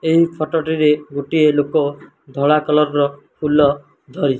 ଏହି ଫଟୋ ଟିରେ ଗୋଟିଏ ଲୋକ ଧଳା କଲର୍ ର ଫୁଲ ଧରି --